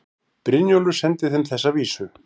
Brynjólfur sendi þeim þessa vísu